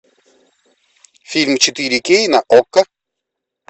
фильм четыре кей на окко